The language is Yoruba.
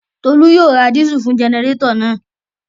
Tolú yóò ra dísù fún jẹnẹrétọ̀ náà